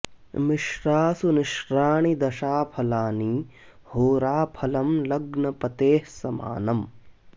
मिश्रासु निश्राणि दशा फलानि होरा फलं लग्न पतेः स मानम्